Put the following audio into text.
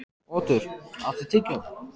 Otur, áttu tyggjó?